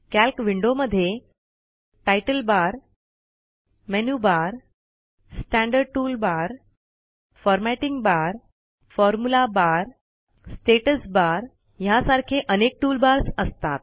calc विंडोमध्ये तितले bar menu bar standard tool bar formatting bar formula bar status bar ह्यासारखे अनेक toolbars असतात